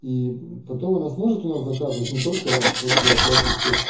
и потом она сможет у нас заказывать но только после оплаты всех